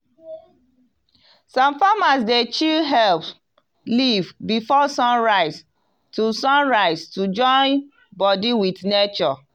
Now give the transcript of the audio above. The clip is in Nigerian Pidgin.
some farmers dey chew herb leaf before sun rise to sun rise to join body with nature